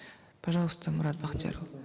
пожалуйста мурат бахтиярулы